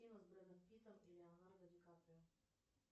с бредом питтом и леонардо ди каприо